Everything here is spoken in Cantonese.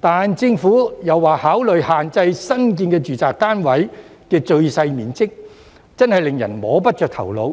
但政府說會考慮限制新建住宅單位的最小面積，真的令人摸不着頭腦。